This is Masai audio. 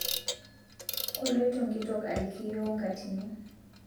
Koloito nkitok aliki yuoo nkatini